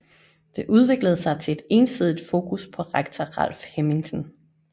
Det udviklede sig til et ensidigt fokus på rektor Ralf Hemmingsen